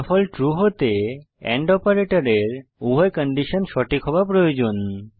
ফলাফল ট্রু হতে এন্ড অপারেটরের উভয় কন্ডিশন সঠিক হওয়া প্রয়োজন